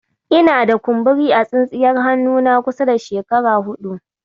Ina da. kumburi a tsintsiyar hannuna kusan shekara huɗu.